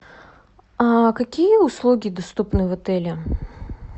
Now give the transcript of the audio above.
какие услуги доступны в отеле